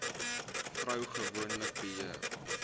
vrou gewoonlik beheer